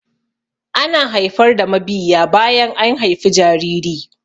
Ana haifar da mabiyiya bayan an haifi jariri.